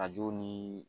Arajo ni